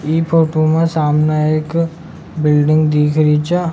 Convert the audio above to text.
ई फोटो में सामने एक बिल्डिंग दिख री छ।